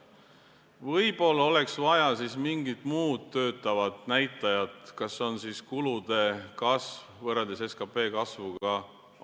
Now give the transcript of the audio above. Võib-olla oleks vaja mingit muud töötavat näitajat, on see siis kulude kasv võrreldes SKP kasvuga vms.